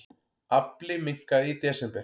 Afli minnkaði í desember